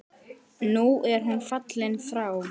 Nú er hún fallin frá.